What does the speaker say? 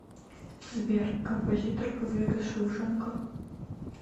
сбер композитор побег из шоушенка